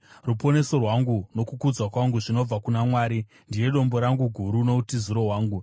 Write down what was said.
Ruponeso rwangu nokukudzwa kwangu zvinobva kuna Mwari; ndiye dombo rangu guru, noutiziro hwangu.